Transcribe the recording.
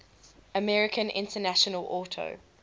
american international auto